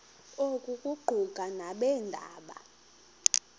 oku kuquka nabeendaba